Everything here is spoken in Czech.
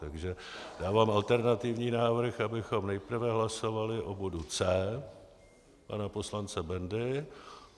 Takže dávám alternativní návrh, abychom nejprve hlasovali o bodu C pana poslance Bendy.